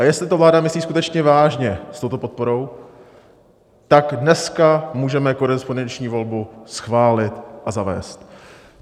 A jestli to vláda myslí skutečně vážně s touto podporou, tak dneska můžeme korespondenční volbu schválit a zavést.